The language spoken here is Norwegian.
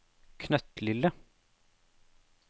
knøttlille